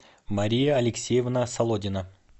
мария алексеевна солодина